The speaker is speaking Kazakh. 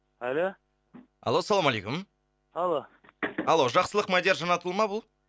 алло алло салаумалейкум алло алло жақсылық мадияр жанатұлы ма бұл